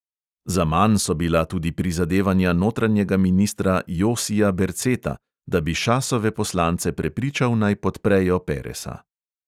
Zaman so bila tudi prizadevanja notranjega ministra josija berceta, da bi šasove poslance prepričal, naj podprejo peresa.